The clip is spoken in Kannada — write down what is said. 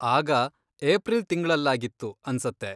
ಆಗ ಏಪ್ರಿಲ್ ತಿಂಗ್ಳಲ್ಲಾಗಿತ್ತು ಅನ್ಸತ್ತೆ.